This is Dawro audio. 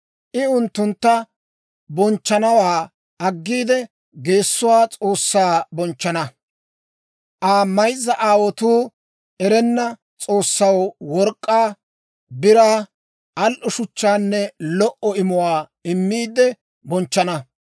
I unttuntta bonchchanawaa aggiide geessuwaa s'oossaa bonchchana; Aa mayzza aawotuu erenna s'oossaw work'k'aa, biraa, al"o shuchchaanne lo"o imuwaa immiide bonchchana.